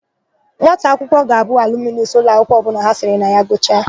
Nwata akwụkwọ ga-abụ alumunus ụlọakwụkwọ ọbụla ha siri na ya gụchaa.